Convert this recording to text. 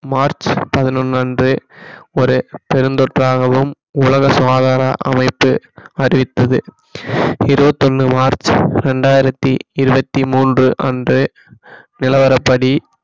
March பதினொண்ணு அன்று ஒரு பெருந்தொற்றாகவும் உலக சுகாதார அமைப்பு அறிவித்தது இருபத்தி ஒண்ணு மார்ச் இரண்டாயிரத்தி இருபத்தி மூன்று அன்று நிலவரப்படி